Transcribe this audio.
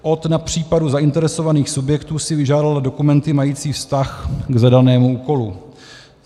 Od na případu zainteresovaných subjektů si vyžádala dokumenty mající vztah k zadanému úkolu.